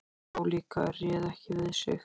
Hún hló líka, réð ekki við sig.